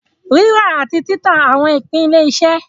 Rírà àti títà àwọn ìpín ilé-iṣẹ́.